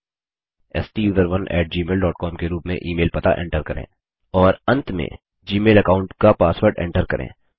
STUSERONEgmailcom के रूप में ईमेल पता एन्टर करें और अंत में जीमेल अकाऊंट का पासवर्ड एन्टर करें